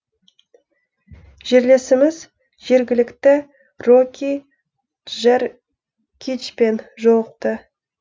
жерлесіміз жергілікті рокки джеркичпен жолықты